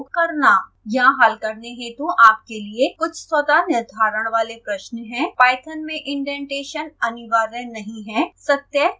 यहाँ हल करने हेतु आपके लिए कुछ स्वतः निर्धारण वाले प्रश्न हैं